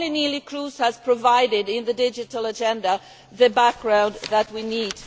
Only Neelie Kroes has provided, in the digital agenda, the background that we need.